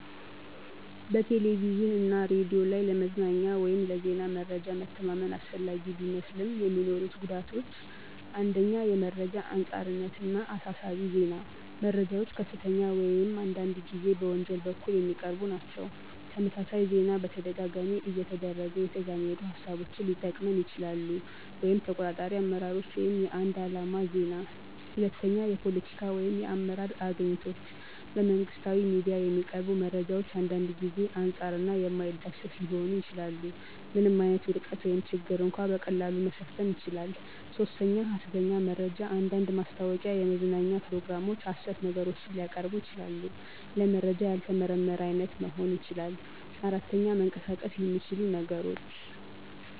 በቴሌቪዥን እና ሬዲዮ ላይ ለመዝናኛ ወይም ለዜና መረጃ መተማመን አስፈላጊ ቢመስልም፣ የሚኖሩት ጉዳቶች 1. የመረጃ አንጻርነት እና አሳሳቢ ዜና - መረጃዎች ከፍተኛ ወይም አንዳንድ ጊዜ በወንጀል በኩል የሚቀርቡ ናቸው። - ተመሳሳይ ዜና በተደጋጋሚ እየተደረገ የተዛመዱ ሃሳቦችን ሊጠቅመን ይችላሉ (ተቆጣጣሪ አመራሮች ወይም የአንድ ዓላማ ዜና)። 2. የፖለቲካ ወይም የአመራር አግኝቶች - በመንግሥታዊ ሚዲያ የሚቀርቡ መረጃዎች አንዳንድ ጊዜ አንጻር እና የማይዳሰስ ሊሆኑ ይችላሉ። ምንም ዓይነት ውድቀት ወይም ችግር እንኳ በቀላሉ መሸፈን ይችላል። 3. ሐሰተኛ መረጃ አንዳንድ ማስታወቂያ፣ የመዝናኛ ፕሮግራሞች ሐሰት ነገሮችን ሊያቀርቡ ይችላሉ። - ለመረጃ ያልተመረመረ አይነት መሆን ይችላል። 4. መንቀሳቀስ የሚችሉ ነገሮች